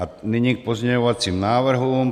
A nyní k pozměňovacím návrhům.